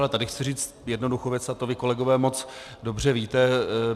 Ale tady chci říct jednoduchou věc a to vy, kolegové, moc dobře víte.